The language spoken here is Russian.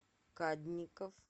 кадников